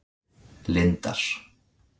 Lindar